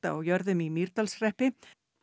á jörðum í Mýrdalshreppi